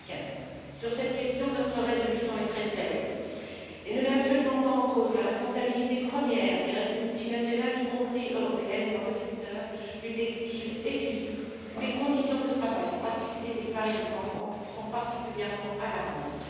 2015. Sur cette question, notre résolution est très faible et ne met absolument pas en cause la responsabilité première des multinationales, y compris européennes, dans le secteur du textile et du sucre, où les conditions de travail, en particulier des femmes et des enfants, sont particulièrement alarmantes.